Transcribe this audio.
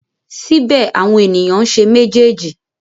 Síbẹ̀ àwọn ènìyàn ń ṣe méjèèjì.